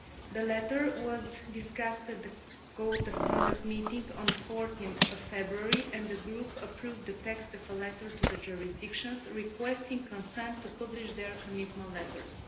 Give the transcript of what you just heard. The letter was discussed at the Code of Conduct meeting on 14 February and the Group approved the text of the letter to the jurisdictions requesting consent to publish their commitment letters.